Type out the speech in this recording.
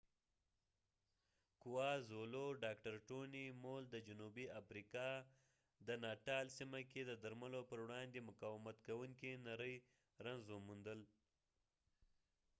ډاکټر ټوني مول د جنوبي آفریقا د kwazulu - natal سیمه کې د درملو پر وړاندې مقاومت کوونکی نری رنځ xdr-tb وموندل